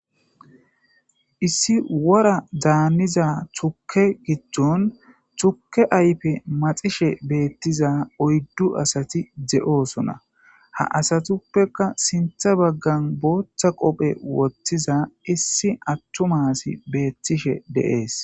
issi wora daanniza chukke gijjon chukke aype maxishe beettiza oyddu asati de7oosona ha asatuppekka sintha baggan booththa qophe woththiza issi atthu maasi beettishe deees